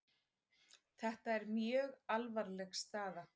Þetta er mjög alvarleg staða